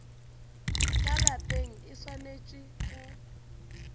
ka lapeng e swanetše go